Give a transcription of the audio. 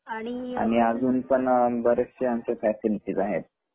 आणि पण बरेचसे आमच्या फँसीलीटीज आहेत.